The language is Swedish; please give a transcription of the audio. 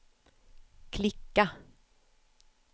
klicka